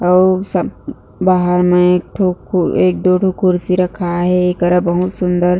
अऊ सब बाहर में ठो एक दो ठो कुर्सी रखाए हे एकरा बहुत सुन्दर--